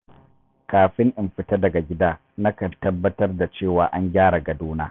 Kafin in fita daga gida, nakan tabbatar da cewa na gyara gadona.